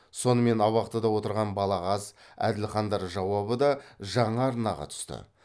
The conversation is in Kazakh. сонымен абақтыда отырған балағаз әділхандар жауабы да жаңа арнаға түсті